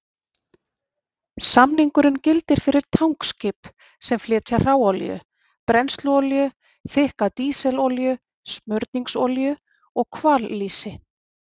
Samningurinn gildir fyrir tankskip sem flytja hráolíu, brennsluolíu, þykka dísilolíu, smurningsolíu og hvallýsi.